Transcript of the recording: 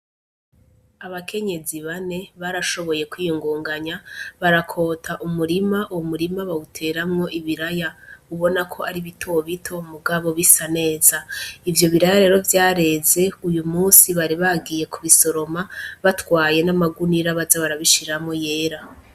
Abakenyezi bane barashoboye kwiyunguganya barakota umurima uwo murima bawuteramwo ibiraya ubonako ari bitobito mugabo bisa neza ivyo biraya rero vyareze uyumunsi bari bagiye kubisoroma batwaye namagunira baze barabishiramwo yera.